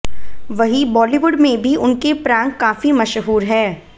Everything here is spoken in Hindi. वहीं बॉलीवुड में भी उनके प्रैंक काफी मशहूर हैं